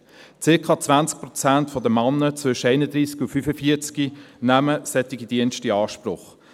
Circa 20 Prozent der Männer zwischen 31 und 45 nehmen solche Dienste in Anspruch.